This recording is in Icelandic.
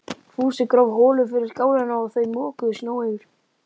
Fúsi gróf holu fyrir skálina og þau mokuðu snjó yfir.